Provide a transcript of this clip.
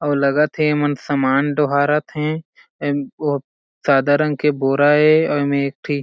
अउ लगत हे एमन सामान डोहारत हे ऍम ओ सादा रंग के बोरा ए अउ एमे एक ठी--